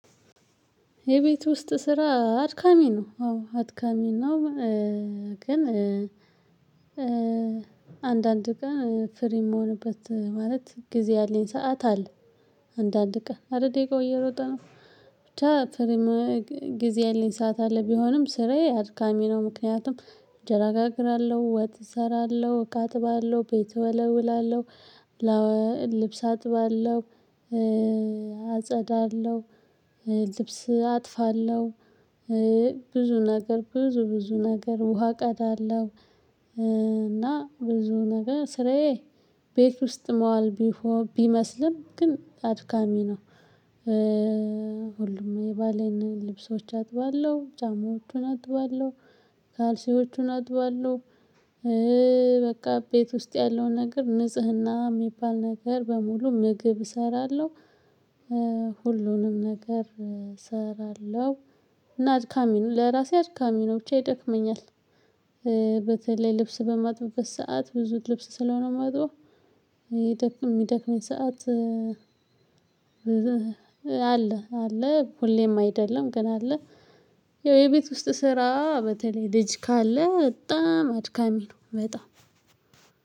የቤት ውስጥ ስራ አድካሚ ነው አዎ አድካሚ ነው። ግን አንዳንድ ቀን ፍሬ የምሆንበት ማለት ጊዜ ያለኝ ሰዓት አለ። አንዳንድ ቀን አይደል ደቂቃው እየሮጠ ነው። ብቻ ጊዜ የለኝ ሰዓት አለ ቢሆንም ስሬ አድካሚ ነው። ምክንያቱም እንጀራ አጋግራለሁ ወት እሰራለሁ እቃ እጥባለሁ ቤት እወለውላለሁ። ልብስ አጥባለሁ። አጸዳለሁ ልብስ አጥፋለሁ። ብዙ ነገር ብዙ ብዙ ነገር ውሃ ቀዳለሁ። እና ብዙ ነገር ስራዬ ቤት ውስጥ መዋል ቢመስልም ግን አድካሚ ነው። ሁሉም የባሌን ልብሶች አጥባለው ጫማዎቹን አጥባለው ካልሲዎቹን አጥባለሁ። በቃ ቤት ውስጥ ያለው ነገር ንጽህና የሚባል ነገር በሙሉ ምግብ እሰራለሁ። ሁሉንም ነገር እሰራለሁ እና አድካሚ ነው ለራሴ አድካሚ ነው ብቻ ይደክመኛል። በተለይ ልብስ በማጥበት በሰአት ብዙ ልብስ ስለሆነ ማጥፈው የሚደክመኝ ሰዓት። አለ አለ ሁሌም አይደለም ግን አለ። ያው የቤት ውስጥ ስራ በተለይ ልጅ ካለ በጣም አድካሚ ነው። በጣም